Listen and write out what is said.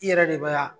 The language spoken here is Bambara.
I yɛrɛ de bɛ yan